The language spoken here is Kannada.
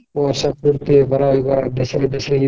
ಇರ್ತೇವಿ ಬರೋರಿಗ್ ಗಿರೋರ್ಗ್